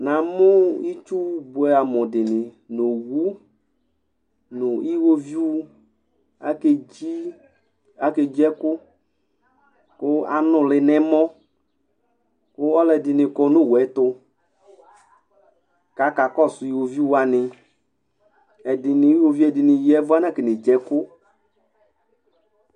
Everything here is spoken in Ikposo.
Namʋ itsu bʋɛamʋ owʋ nʋ iwoviu akedzi ɛkʋ kʋ anʋli nʋ ɛmɔ kʋ alʋɛdi kɔnʋ owʋɛtʋ kʋ akakɔsʋviwoviu wani iwoviu ɛdini ya ɛvʋ anakɔne dziɛkʋ